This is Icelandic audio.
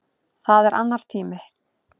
Það er annar tími.